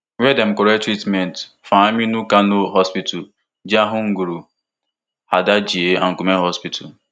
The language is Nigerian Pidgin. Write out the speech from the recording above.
wia dem collect treatment for aminu kano hospital jahun nguru hadejia and gumel hospital